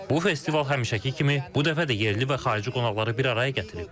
Bu festival həmişəki kimi bu dəfə də yerli və xarici qonaqları bir araya gətirib.